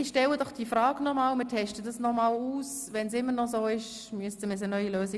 Ich werde die Frage noch einmal stellen und wir testen noch einmal.